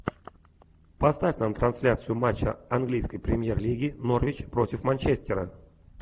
поставь нам трансляцию матча английской премьер лиги норвич против манчестера